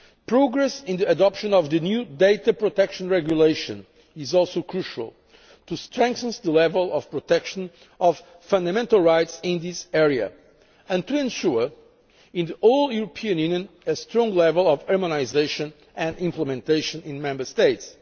Progress on the adoption of the new Data Protection Regulation is also crucial, to strengthen the level of protection of fundamental rights in this area and to ensure in the whole European Union a strong level of harmonisation and implementation in the Member States.